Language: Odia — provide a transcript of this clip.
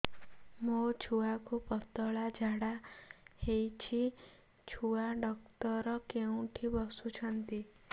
ମୋ ଛୁଆକୁ ପତଳା ଝାଡ଼ା ହେଉଛି ଛୁଆ ଡକ୍ଟର କେଉଁଠି ବସୁଛନ୍ତି